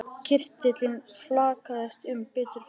Kirtillinn flaksaðist um bera fætur hans.